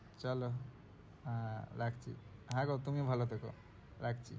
চলো হ্যাঁ, রাখি হ্যাঁ গো তুমিও ভালো থেকো রাখছি।